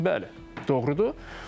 Bəli, doğrudur.